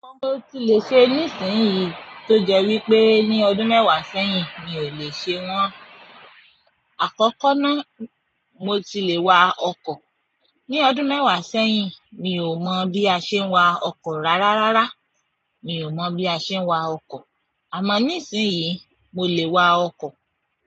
Àwọn ohun tí mo ti lẹ́ ṣe nísinsìnyí tó jẹ́ wípé ní ọdún mẹ́wàá sẹ́yìn mi ò lè ṣe wọ́n. Àkọ́kọ́ náà mo ti le wa ọkọ̀. Ní ọdún mẹ́wàá sẹ́yìn, mi ò mọ̀ bí a ṣe ń wa ọkọ̀ rárá rárá. Mi ò mọ̀ bí a ṣe ń wa ọkọ̀. Àmọ́ nísinsìnyí, mo lè wa ọkọ̀.